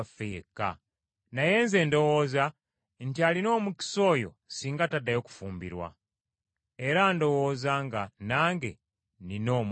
Naye nze ndowooza nti alina omukisa oyo singa taddayo kufumbirwa. Era ndowooza nga nange nnina Omwoyo wa Katonda.